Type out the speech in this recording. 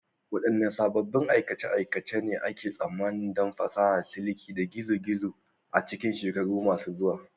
Waɗanne sabbin aikace-aikace ne ake tsammanin don fasahar siliki ta gizo-gizo a cikin shekaru masu zuwa?